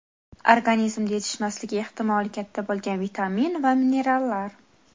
Organizmda yetishmasligi ehtimoli katta bo‘lgan vitamin va minerallar.